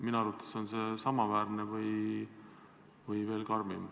Minu arvates on see samaväärne või veel karmim.